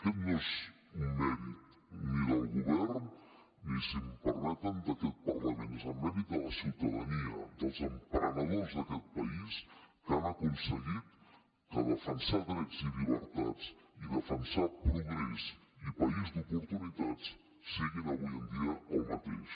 aquest no és un mèrit ni del govern ni si m’ho permeten d’aquest parlament és el mèrit de la ciutadania dels emprenedors d’aquest país que han aconseguit que defensar drets i llibertats i defensar progrés i país d’oportunitats siguin avui en dia el mateix